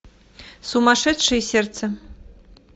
сумасшедшее сердце